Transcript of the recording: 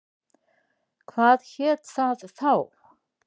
Hvað hét það þá?